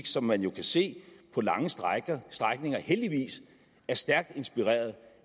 som man jo kan se på lange strækninger strækninger heldigvis er stærkt inspireret